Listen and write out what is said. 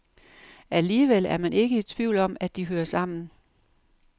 Alligevel er man ikke i tvivl om, at de hører sammen.